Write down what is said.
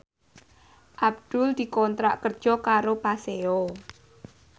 Abdul dikontrak kerja karo Paseo